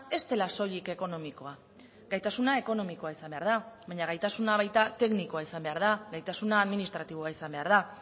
ez dela soilik ekonomikoa gaitasuna ekonomikoa izan behar da baina gaitasuna baita teknikoa izan behar da gaitasuna administratiboa izan behar da